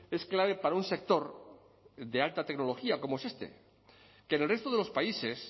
es clave para un sector de alta tecnología como es este que en el resto de los países